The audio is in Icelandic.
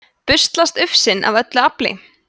busslast ufsinn af öllu afli